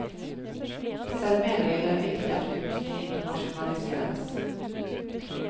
Selv mener jeg det er viktig at kunsten internasjonaliseres.